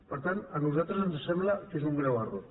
per tant a nosaltres ens sembla que és un greu error